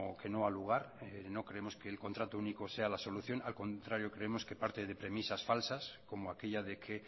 que no ha lugar no creemos que el contrato único sea la solución al contrario creemos que parte de premisas falsas como aquella de que